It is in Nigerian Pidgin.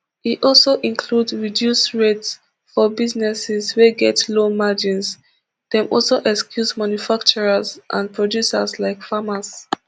e also include reduced rates for businesses wey get low margins dem also excuse manufacturers and producers like farmers